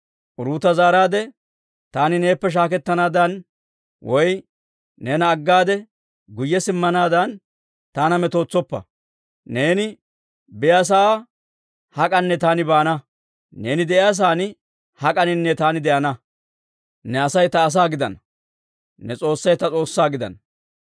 Uruuta zaaraade, «Taani neeppe shaaketanaadan woy neena aggade guyye simmanaadan taana metootsoppa. Neeni biyaasa'aa hak'anne taani baana; neeni de'iyaa sa'aan hak'aninne taani de'ana. Ne Asay ta asaa gidana; ne S'oossay ta S'oossaa gidana.